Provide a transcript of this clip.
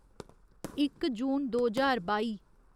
इक जून दो ज्हार बाई